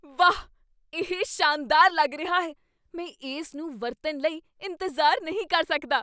ਵਾਹ, ਇਹ ਸ਼ਾਨਦਾਰ ਲੱਗ ਰਿਹਾ ਹੈ! ਮੈਂ ਇਸ ਨੂੰ ਵਰਤਣ ਲਈ ਇੰਤਜ਼ਾਰ ਨਹੀਂ ਕਰ ਸਕਦਾ।